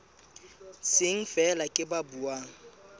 seng feela ke ba buang